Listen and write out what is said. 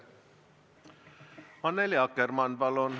Annely Akkermann, palun!